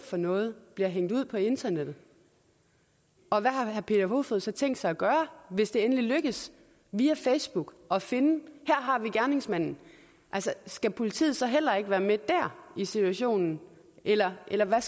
for noget bliver hængt ud på internettet og hvad har herre peter kofod poulsen så tænkt sig at gøre hvis det endelig lykkes via facebook at finde gerningsmanden altså skal politiet så heller ikke være med der i situationen eller eller